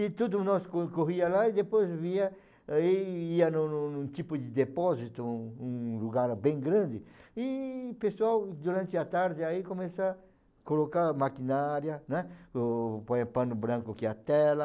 E tudo, nós co corria lá e depois vinha, e ia num num num tipo de depósito, um lugar bem grande, e pessoal, durante a tarde, aí começa a colocar maquinária, né, o, põe pano branco, que é a tela,